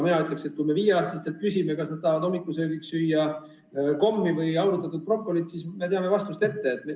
Mina ütleksin, et kui me viieaastastelt küsime, kas nad tahavad hommikusöögiks kommi või aurutatud brokolit, siis teame vastust juba ette.